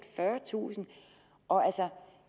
fyrretusind